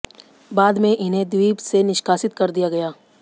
बाद में इन्हें द्वीप से निष्कासित कर दिया गया